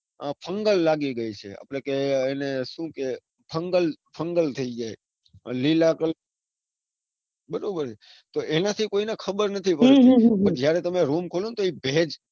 fungal લાગી ગયી છે. આપણે કે એને કે સુ કે fungal fungal થઇ જાય. અને લીલા બરાબર છે. પણ એના થી હમ કોઈને ખબર નથી પડતી પણ જયારે તમે રૂમ ખોલો ન તો એક ભેજ.